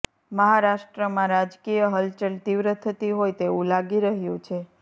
મહારાષ્ટ્રમાં રાજકીય હલચલ તીવ્ર થતી હોય તેવું લાગી રહ્યું છે